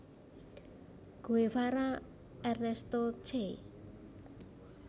Guevara Ernesto Che